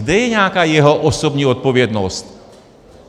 Kde je nějaká jeho osobní odpovědnost?